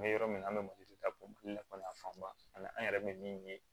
N bɛ yɔrɔ min na an bɛ mali la mali la fanba ani an yɛrɛ bɛ min ye